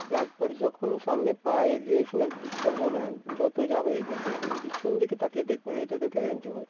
একবার যখন সামনে পা এগিয়েছি না পিছবো না একদম যতই যা হয়ে যাক না কেন পিছন দিকে তাকিয়ে দেখবো না এটা তো guarantee ভাই।